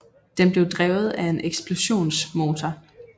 Den blev drevet af en eksplosionsmotor